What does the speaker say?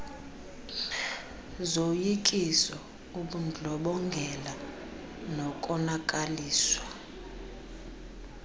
zoyikiso ubundlobongela nokonakaliswa